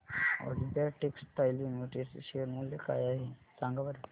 Olympia textiles limited चे share मूल्य काय आहे सांगा बरं